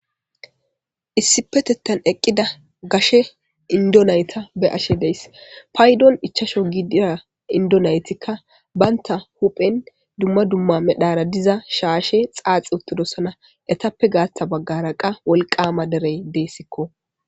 Issippetetan eqida gashe indo nayta beyashe de'aysi paydon 5 gidiza indo naytika banta huphen duma duma medhara diza shashe caciwothidosona etappe gatha bagara qase wolqama derey desko